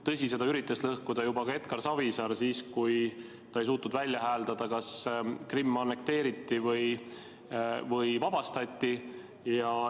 Tõsi, seda üritas lõhkuda juba Edgar Savisaar, kui ta ei suutnud välja hääldada, kas Krimm annekteeriti või vabastati.